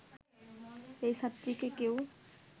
এই ছাত্রীকে কেউ